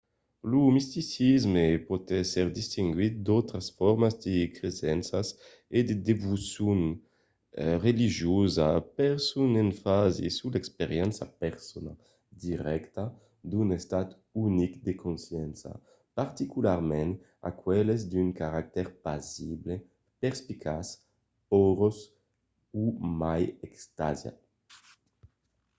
lo misticisme pòt èsser distinguit d'autras formas de cresenças e de devocion religiosa per son enfasi sus l'experiéncia persona dirècta d'un estat unic de consciéncia particularament aqueles d'un caractèr pasible perspicaç aürós o mai extasiat